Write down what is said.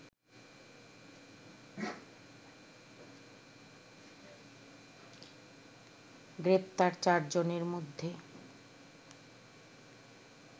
গ্রেপ্তার চারজনের মধ্যে